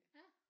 Ja